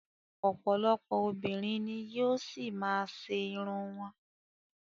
Ọ̀pọ̀lọpọ̀ obìnrin ni yóò ṣì má a ṣe irun wọn.